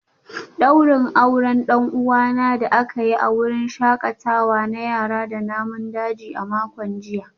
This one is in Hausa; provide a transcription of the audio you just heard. Daurin auren dan uwana da aka yi a wurin shakatawa na yara da namun daji a makon jiya